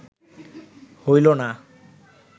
হইল না